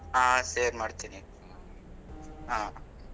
ಹಾ share ಮಾಡ್ತಿನಿ ಹಾ.